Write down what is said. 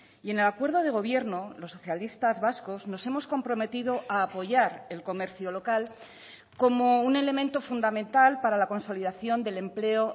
y en el acuerdo de gobierno los socialistas vascos nos hemos comprometido a apoyar el comercio local como un elemento fundamental para la consolidación del empleo